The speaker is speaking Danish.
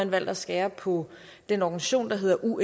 valgt at skære på den organisation der hedder undp